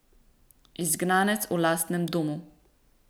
Izgnanec v lastnem domu.